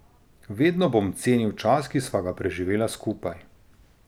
Vedno bom cenil čas, ki sva ga preživela skupaj.